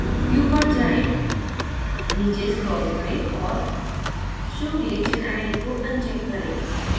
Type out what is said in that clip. view पर जाएँ नीचे scroll करें और show reaction id को अनचेक करें